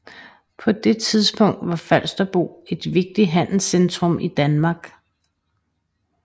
På det tidspunkt var Falsterbo et vigtigt handelscentrum i Danmark